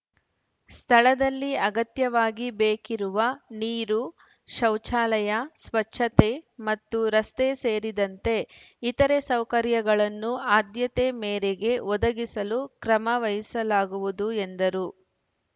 ಸ್ಥಳದಲ್ಲಿ ಅಗತ್ಯವಾಗಿ ಬೇಕಿರುವ ನೀರು ಶೌಚಾಲಯ ಸ್ವಚ್ಛತೆ ಮತ್ತು ರಸ್ತೆ ಸೇರಿದಂತೆ ಇಥರೆ ಸೌಕರ್ಯಗಳನ್ನು ಆದ್ಯತೆ ಮೇರೆಗೆ ಒದಗಿಸಲು ಕ್ರಮ ವಹಿಸಲಾಗುವುದು ಎಂದರು